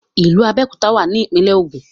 ìlú Abéòkúta wà ní ìpínlẹ̀ Ògùn